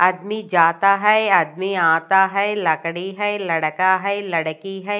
आदमी जाता है आदमी आता है लकड़ी है लड़का है लडकी है।